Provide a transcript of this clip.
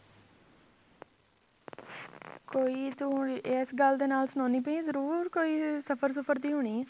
ਕੋਈ ਤੂੰ ਇਸ ਗੱਲ ਦੇ ਨਾਲ ਸੁਣਾਉਂਦੀ ਪਈ ਹੈ ਜ਼ਰੂਰ ਕੋਈ ਸਫ਼ਰ ਸੁਫ਼ਰ ਦੀ ਹੋਣੀ ਹੈ